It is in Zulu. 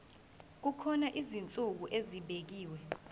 kukhona izinsuku ezibekiwe